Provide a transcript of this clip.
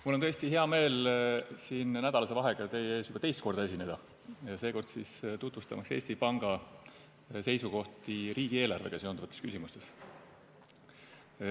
Mul on tõesti hea meel siin nädalase vahega teie ees juba teist korda esineda, seekord siis tutvustamaks Eesti Panga seisukohti riigieelarvega seonduvates küsimustes.